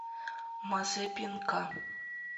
мазепинка